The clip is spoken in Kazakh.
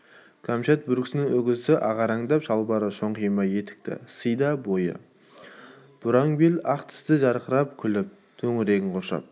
кәмшат бөркінің үкісі ағарандап шалбарлы шоңқайма етікті сыйда бой бұраң бел ақ тісі жарқырап күліп төңірегін қоршап